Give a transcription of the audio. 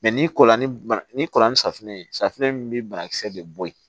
ni kɔla ni bana n'i kɔrɔla ni safunɛ ye safunɛ in bi banakisɛ de bɔ yen